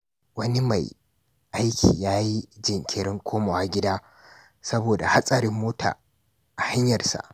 Wani mai aiki ya yi jinkirin komawa gida saboda hatsarin mota a hanyarsa.